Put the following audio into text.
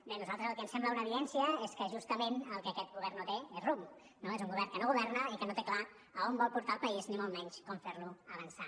bé a nosaltres el que ens sembla una evidència és que justament el que aquest govern no té és rumb no és un govern que no governa i que no té clar on vol portar el país ni molt menys com fer lo avançar